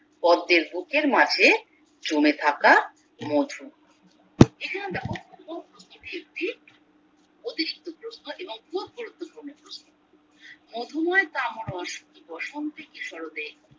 পদ্মের বুকের মাঝে জমে থাকা মধু এখানে দ্যাখো এবং খুব গুরুত্বপূর্ণ প্রশ্ন মধুময় কামরস কি বসন্তে কি সরতে